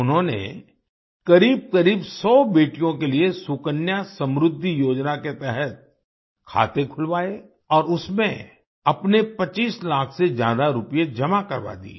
उन्होंने करीब करीब 100 बेटियों के लिए सुकन्या समृद्धि योजना के तहत खाते खुलवाए और उसमें अपने 25 लाख से ज्यादा रूपए जमा करवा दिये